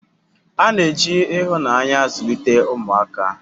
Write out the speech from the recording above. A na-eji ihunanya zulite umuaka